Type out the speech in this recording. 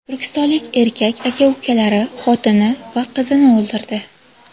Turkistonlik erkak aka-ukalari, xotini va qizini o‘ldirdi.